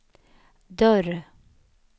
dörr